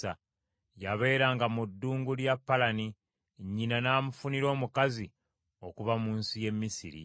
Yabeeranga mu ddungu lya Palani: nnyina n’amufunira omukazi okuva mu nsi y’e Misiri.